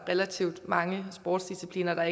relativt mange sportsdiscipliner